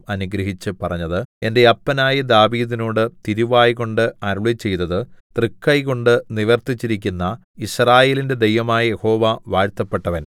അനുഗ്രഹിച്ചു പറഞ്ഞത് എന്റെ അപ്പനായ ദാവീദിനോട് തിരുവായ്കൊണ്ട് അരുളിച്ചെയ്തത് തൃക്കൈകൊണ്ട് നിവർത്തിച്ചിരിക്കുന്ന യിസ്രായേലിന്റെ ദൈവമായ യഹോവ വാഴ്ത്തപ്പെട്ടവൻ